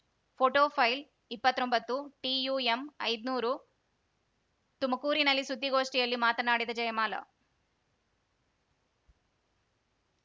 photo file ಇಪ್ಪತ್ತೊಂಬತ್ತು ಟಿಯುಎಂಐದ್ನೂರು ತುಮಕೂರಿನಲ್ಲಿ ಸುದ್ದಿಗೋಷ್ಠಿಯಲ್ಲಿ ಮಾತನಾಡಿದ ಜಯಮಾಲ